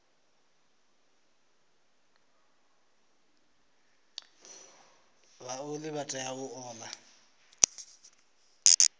vhaoli vha tea u ola